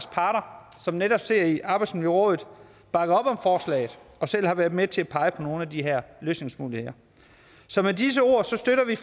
parter som netop sidder i arbejdsmiljørådet bakker op om forslaget og selv har været med til at pege på nogle af de her løsningsmodeller så med disse ord støtter vi